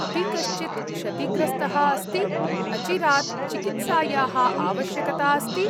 अपि कश्चित् क्षतिग्रस्तः अस्ति? अचिरात् चिकित्सायाः आवश्यकता अस्ति?